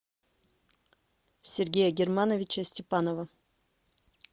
сергея германовича степанова